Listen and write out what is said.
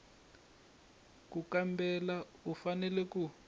ku kambela u fanele ku